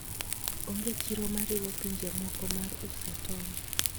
Onge chiro mariwo pinje moko mar uso tong' .